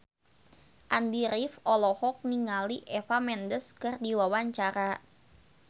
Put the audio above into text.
Andy rif olohok ningali Eva Mendes keur diwawancara